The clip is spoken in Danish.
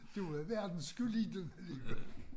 Der var verden sgu lille alligevel